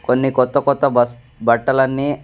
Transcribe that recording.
కొన్ని కొత్త కొత్త బస్ బట్టలన్నీ--